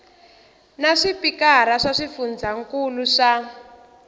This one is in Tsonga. na swipikara swa swifundzankulu swa